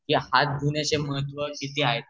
की हात धुण्याचे महत्त्व किती हाये